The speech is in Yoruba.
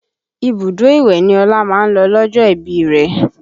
Ibùdó ìwẹ̀ ni Ọlá máa ń lọ lọ́jọ́ ìbí rẹ